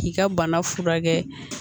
K'i ka bana furakɛ